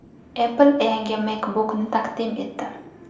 Apple yangi MacBook’ni taqdim etdi.